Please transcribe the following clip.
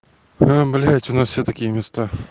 а блядь у нас все такие места